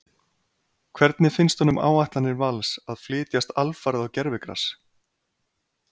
Hvernig finnst honum áætlanir Vals að flytjast alfarið á gervigras?